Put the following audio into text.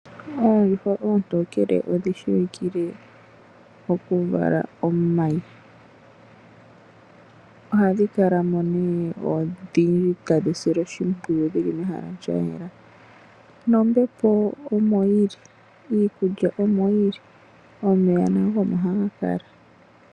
Oondjuhwa oontokele odhi shiwikile okuvala omayi ohadhi kalamo odhindji tadhi silwa oshimpwiyu dho odhili mehala lya yela nombepo omo yili, iikulya omoyi nomeya omo haga kala.